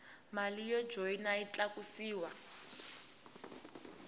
mali yo joyina yi tlakusiwa